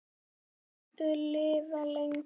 Viltu lifa lengi?